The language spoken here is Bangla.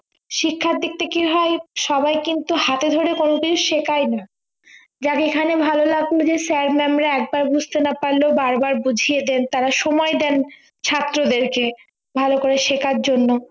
শিক্ষার দিকটা কি হয় সবাই কিন্তু হাতে ধরে কোনোদিন শেখায় নি যার যেখানে ভালো লাগলো যে sir mam রা একবার বুঝতে না পারলেও বারবার বুঝিয়ে দেন তারা সময় দেন ছাত্রদের কে ভালো করে শেখার জন্য